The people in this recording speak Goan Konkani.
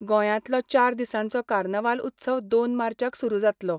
गोंयांतलो चार दिसांचो कार्नवाल उत्सव दोन मार्चाक सुरू जातलो